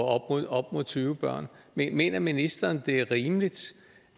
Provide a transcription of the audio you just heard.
op mod tyve børn mener ministeren det er rimeligt